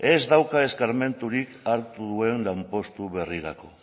ez dauka eskarmenturik hartu duen lanpostu berrirako